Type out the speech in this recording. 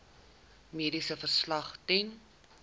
mediese verslag ten